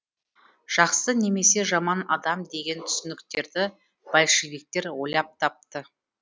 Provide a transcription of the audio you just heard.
жақсы немесе жаман адам деген түсініктерді большевиктер ойлап тапты